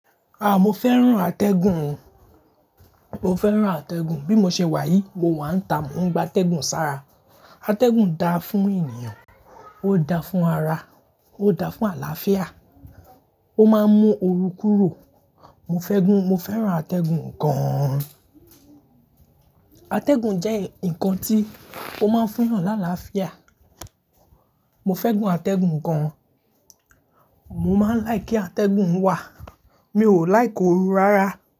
Ah! Mo fẹ́ràn atẹ́gùn o. Mo fẹ́ràn atẹ́gùn. Bí mo ṣe wà yìí, mo wà ń ta, mo ń gba atẹ́gùn sára. Atẹ́gùn da fún ènìyàn, ó da fún ara, ó da fún àlàáfíà, ó máa ń mú oru kúrò. Mo fẹ́ gùn, mo fẹ́ràn atẹ́gùn gan. Atẹ́gùn jẹ́ ǹkan tí ó máa ń fún ènìyàn ní àlàáfíà. Mo fẹ́ gùn atẹ́gùn gan. Mo máa ń like kí atẹ́gùn wà. Mi ò like oru rárá.